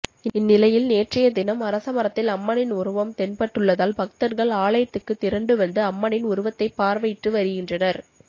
இந்நிலையில் நேற்றையதினம் அரசமரத்தில் அம்மனின் உருவம் தென்பட்டுள்ளதால் பக்தர்கள் ஆலயத்துக்கு திரண்டு வந்து அம்மனின் உருவத்தை பார்வையிட்டு வருகின்றனர்